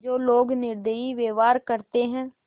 जो लोग निर्दयी व्यवहार करते हैं